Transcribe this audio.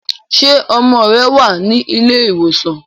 ṣe ọmọ rẹ wá ní Ilé ìwòsàn?